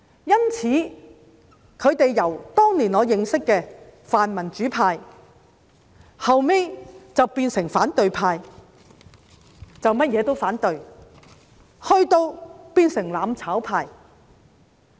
因此，他們由我當年認識的泛民主派，後來變成了反對派，甚麼事情也要反對，以至變成"攬炒派"。